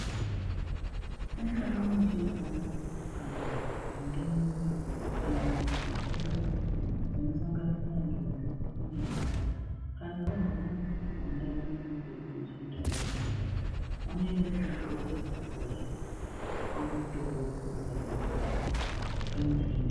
Ungaa muchechana, kana zvindumure, kana antu akuru zvinosanganisira ndombi nemhandara. Kana varwara kundau unono kwedu kuchindau muntharaunda, vanoenda kuzvibhedhlera, korapwa vopihwa mutombo vophuza vechizvino-zvino.